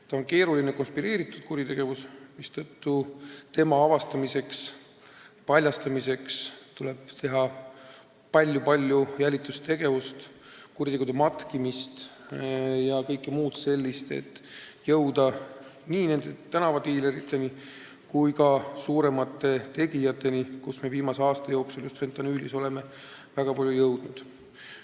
See on keeruline, konspireeritud kuritegevus, mistõttu selle avastamiseks ja paljastamiseks on vaja palju-palju jälitustegevust, kuritegude matkimist ja kõike muud sellist, et jõuda nii tänavadiileriteni kui ka suuremate tegijateni, nagu me viimase aasta jooksul just fentanüüli vastu võitlemisel oleme väga palju teinud.